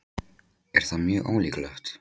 Er það mjög ólíklegt?